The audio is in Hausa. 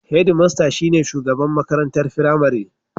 Hedmasta shi ne shugaban makarantar firamare.